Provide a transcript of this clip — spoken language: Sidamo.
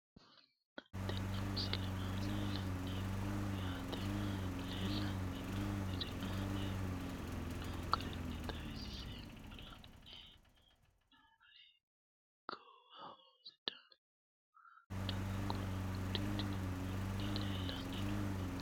Tenne misile aana laeemmo woyte leelanni noo'ere aane noo garinni xawiseemmo. La'anni noomorri goowaho sidaamu daga qolo uddidhinno manni leelanni nooe.